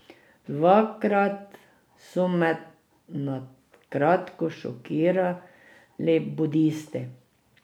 Dvakrat so me na kratko šokirali budisti.